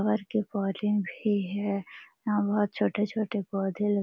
और के पौधे भी है यहाँ बहुत छोटे-छोटे पौधे ल --